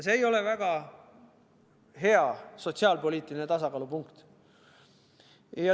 See ei ole kuigi hea sotsiaalpoliitiline tasakaalupunkt.